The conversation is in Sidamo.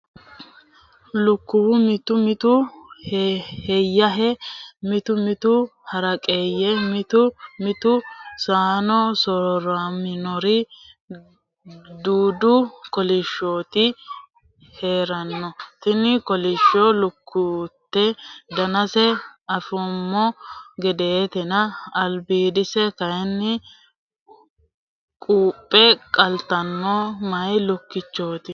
Lukkuwu mitu mitu heeyahe mitu mitu haraqeye mitu mitu sona soorramori dudu kolishshoti heerano, tini kolishsho lukkiteno danase anfumo gedetenna albidise kayinni quphe qaltanotta meyi lukkichoti.